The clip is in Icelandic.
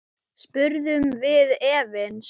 spurðum við efins.